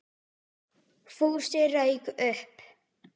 Fúsi rauk upp.